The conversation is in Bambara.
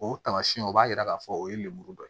O tamasiyɛnw o b'a yira k'a fɔ o ye lemuru dɔ ye